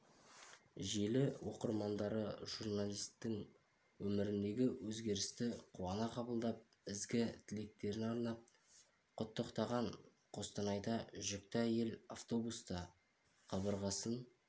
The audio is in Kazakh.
желі оқырмандары журналистің өміріндегі өзгерісті қуана қабылдап ізгі тілектерін арнап құттықтаған қостанайда жүкті әйел автобуста қабырғасын